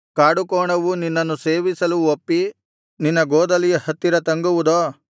ಕಾಡುಕೋಣವು ನಿನ್ನನ್ನು ಸೇವಿಸಲು ಒಪ್ಪಿ ನಿನ್ನ ಗೋದಲಿಯ ಹತ್ತಿರ ತಂಗುವುದೋ